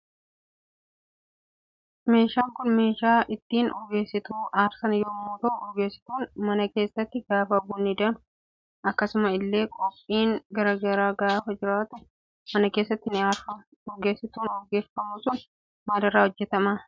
Meeshaan Kun meeshaa ittin urgeessituu aarsan yommuu ta'u urgeessituun mana keessaatti gaafa bunni danfu akkasumas ille gophiin garaa garaa gaafa jiraatu mana keessaatti ni aarfama. Urgeessituun urgeeffamu sun maalirra hojjetama?